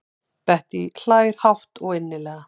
Bettý hlær hátt og innilega.